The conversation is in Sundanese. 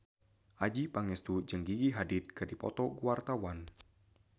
Adjie Pangestu jeung Gigi Hadid keur dipoto ku wartawan